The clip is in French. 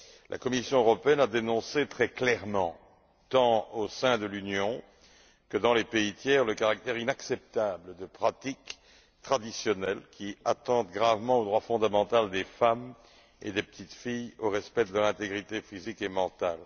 La Commission européenne a dénoncé très clairement, tant au sein de l'Union que dans les pays tiers, le caractère inacceptable de pratiques traditionnelles qui attentent gravement au droit fondamental des femmes et des petites filles au respect de leur intégrité physique et mentale.